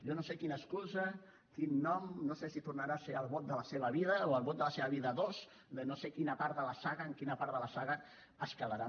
jo no sé quina excusa quin nom no sé si tornarà a ser el vot de la seva vida o el vot de la seva vida ii no sé en quina part de la saga es quedaran